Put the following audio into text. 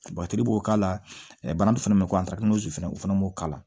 b'o k'a la banakun fɛnɛ bɛ ko fɛnɛ o fana b'o k'a la